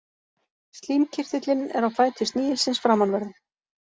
Slímkirtillinn er á fæti snigilsins framanverðum.